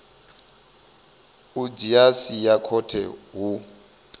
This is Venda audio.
u dzhia sia khothe hu